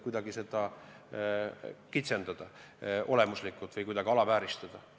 Me ei taha kuidagi seda olemuslikult kitsendada või alavääristada.